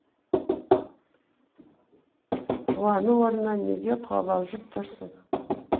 қуану орнына неге қобалжып тұрсың